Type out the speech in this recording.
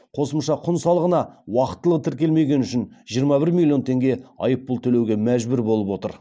қосымша құн салығына уақытылы тіркелмегені үшін жиырма бір миллион теңге айыппұл төлеуге мәжбүр болып отыр